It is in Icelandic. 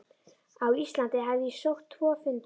Á Íslandi hafði ég sótt tvo fundi.